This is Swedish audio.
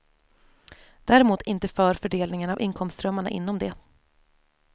Däremot inte för fördelningen av inkomstströmmarna inom det.